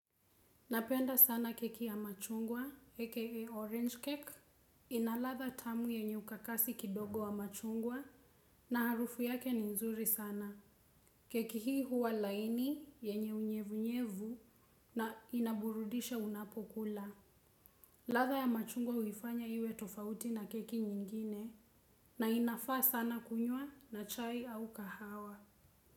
Napenda sana keki ya machungwa aka orange cake. Ina latha tamu yenye ukakasi kidogo wa machungwa na harufu yake ni nzuri sana. Keki hii huwa laini yenye unyevunyevu na inaburudisha unapokula. Latha ya machungwa huifanya iwe tofauti na keki nyingine na inafaa sana kunywa na chai au kahawa.